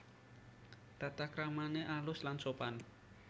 Tatakramané alus lan sopan